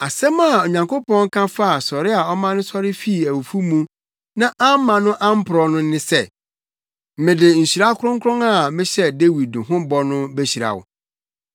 Asɛm a Onyankopɔn ka faa sɔre a ɔma no sɔre fii awufo mu na amma no amporɔw no ne sɛ, “ ‘Mede nhyira kronkron a mehyɛɛ Dawid ho bɔ no behyira wo.’